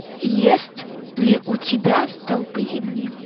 есть ли у тебя столпы земли